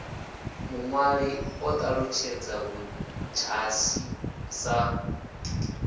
muṅwali o ṱalutshedza ludzhasi sa